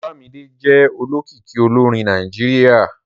Olámídé jẹ́ olókìkí olórin Nàìjíríà